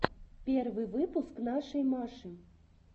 первый выпуск нашей маши